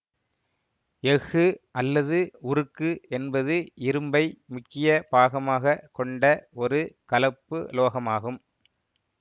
எஃகு அல்லது உருக்கு என்பது இரும்பை முக்கிய பாகமாகக் கொண்ட ஒரு கலப்புலோகமாகும்